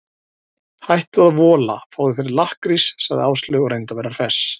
Hættu að vola, fáðu þér lakkrís sagði Áslaug og reyndi að vera hress.